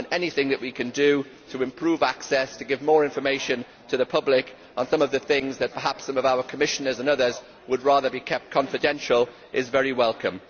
Anything that we can do to improve access, to give more information to the public on some of the things that perhaps some of our Commissioners and others would rather keep confidential, is very welcome.